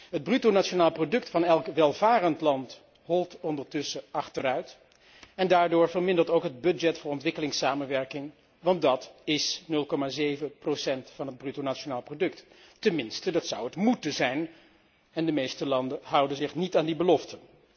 Het bruto nationaal product van elk welvarend land holt ondertussen achteruit en daardoor vermindert ook het budget voor ontwikkelingssamenwerking, want dat is 0,7 van het bruto nationaal product, tenminste dat zou het moeten zijn en de meeste landen houden zich niet aan die belofte.